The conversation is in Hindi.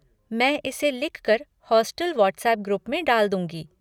मैं इसे लिखकर हॉस्टल व्हाट्सएप ग्रुप में डाल दूँगी।